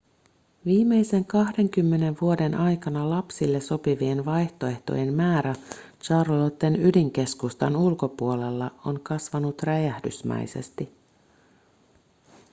viimeisen 20 vuoden aikana lapsille sopivien vaihtoehtojen määrä charlotten ydinkeskustan ulkopuolella on kasvanut räjähdysmäisesti